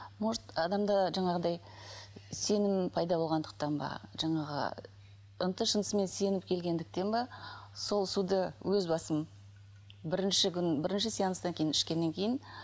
может адамда жаңағыдай сенім пайда болғандықтан ба жаңағы ынты шынтысыменен сеніп келгендіктен бе сол суды өз басым бірінші күн бірінші сеанстан кейін ішкеннен кейін